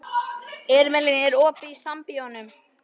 Irmelín, er opið í Sambíóunum?